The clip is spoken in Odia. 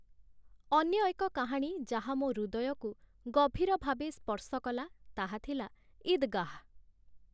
ଅନ୍ୟ ଏକ କାହାଣୀ ଯାହା ମୋ' ହୃଦୟକୁ ଗଭୀର ଭାବେ ସ୍ପର୍ଶ କଲା ତାହା ଥିଲା; 'ଈଦ୍ଗାହ୍‌' ।